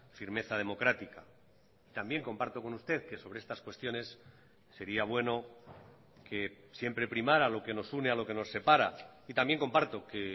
firmeza democrática también comparto con usted que sobre estas cuestiones sería bueno que siempre primara lo que nos une a lo que nos separa y también comparto que